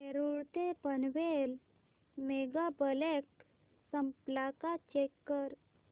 नेरूळ ते Panvel mega block संपला का चेक कर